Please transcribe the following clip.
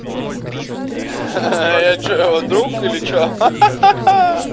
а что вдруг или че